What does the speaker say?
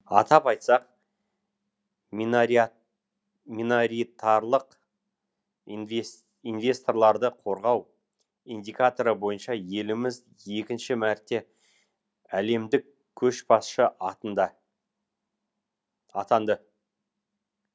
атап айтсақ минаритарлық инвесторларды қорғау индикаторы бойынша еліміз екінші мәрте әлемдік көшбасшы атында атанды